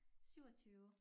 27